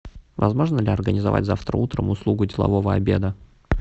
возможно ли организовать завтра утром услугу делового обеда